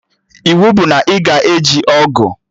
Iwu bụ na ị ga-eji ọgụ!